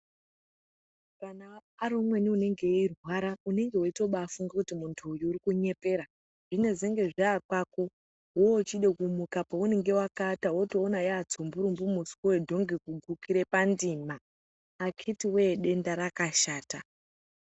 Kana ari umweni unenge eirwara unenge weibatofunge kuti muntu uyu urikunyepera zvinezenge zvakwako wochide kumuka paunenge wakaaata wotoona watsumburumbu muswe wedhongi kugukire pandima akitiwe denda rakashata.